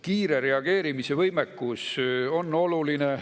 Kiire reageerimise võimekus on oluline.